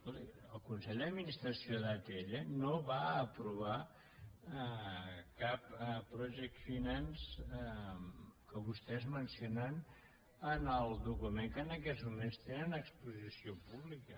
escolti el consell d’administració d’atll no va aprovar cap project finance que vostès mencionen en el document que en aquests moments tenen a exposició pública